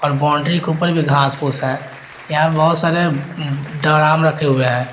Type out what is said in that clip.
और बाउंड्री के ऊपर भी घास फूस है यहां पर बहुत सारे डराम रखे हुए हैं।